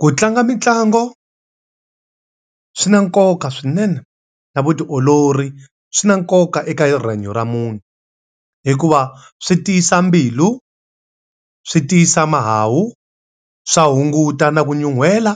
Ku tlanga mitlangu, swi na nkoka swinene na vutiolori swi na nkoka eka rihanyo ra munhu. Hikuva swi ti swa mbilu, swi tiyisa mahawu, swa hunguta na ku nyuhela,